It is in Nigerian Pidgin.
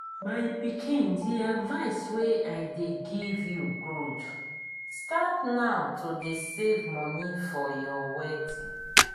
my pikin the advice wey i dey give you good. start now to dey save money for your wedding